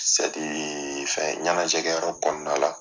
fɛ ɲɛnajɛ kɛ yɔrɔ kɔnɔna la